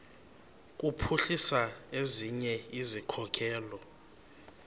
kuphuhlisa ezinye izikhokelo